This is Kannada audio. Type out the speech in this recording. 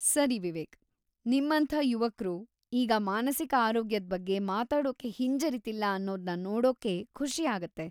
ಸರಿ ವಿವೇಕ್, ನಿಮ್ಮಂಥ ಯುವಕ್ರು ಈಗ ಮಾನಸಿಕ ಆರೋಗ್ಯದ್ ಬಗ್ಗೆ ಮಾತಾಡೋಕೆ ಹಿಂಜರೀತಿಲ್ಲ ಅನ್ನೋದ್ನ ನೋಡೋಕೆ ಖುಷಿ ಆಗುತ್ತೆ.